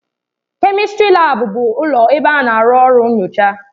Kèmistrị laabu bụ ụlọ ebe a na-arụ ọrụ nnyocha.